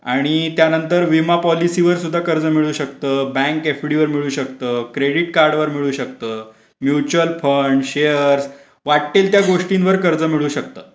आणि त्यानंतर विमा पॉलिसीवर सुद्धा कर्ज मिळू शकतो बँक एफडीवर मिळू शकत क्रेडिट कार्डवर मिळू शकतो म्युचल फंड शेअर वाटेल त्या गोष्टींवर कर्ज मिळू शकतात.